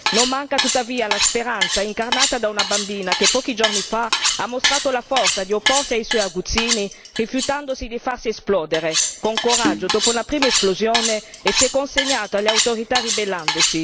Non manca tuttavia la speranza, incarnata da una bambina che pochi giorni fa ha mostrato la forza di opporsi ai suoi aguzzini rifiutando di farsi esplodere, con coraggio, dopo la prima esplosione si è consegnata alle autorità, ribellandosi.